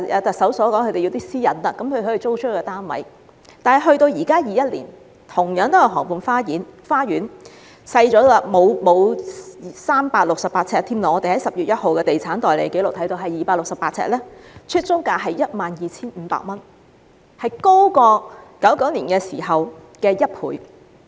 但是，到了現今2021年，同樣是河畔花園，單位沒有368呎那麼大......根據10月1日的地產代理紀錄 ，268 呎單位的出租價是 12,500 元，較1999年時高1倍。